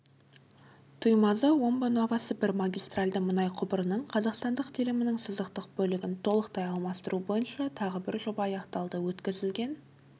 тұймазы-омбы-новосібір магистральді мұнай құбырының қазақстандық телімінің сызықтық бөлігін толықтай алмастыру бойынша тағы бір жоба аяқталды өткізілген